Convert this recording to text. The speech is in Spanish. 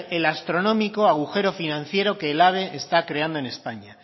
el astronómico agujero financiero que el ave está creando en españa